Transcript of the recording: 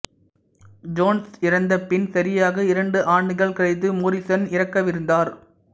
Jones இறந்தபின் சரியாக இரண்டு ஆண்டுகள் கழித்து மோரிசன் இறக்கவிருந்தார்